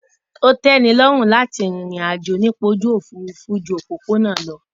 Ó tẹ́nilọ́rùn láti rìn ìrìn àjò nípa ojú òfurufú ju òpópó-ọ̀nà lọ